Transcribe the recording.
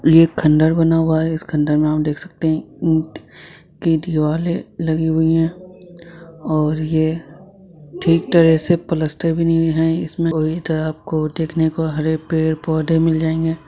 ये एक खंडर बना हुआ है इसके अंदर में हम देख सकते है की दिवाले लगी हुई है और ये ठीक तरह से पलस्तर भी नहीं है इसमे पूरी तरह आपको देखने को हरे पेड़-पौधे मिल जाएंगे।